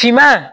Finma